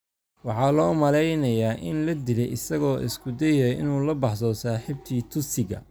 waxaa loo malaynayaa in la dilay isagoo isku dayaya inuu la baxsado saaxiibtii Tutsiga.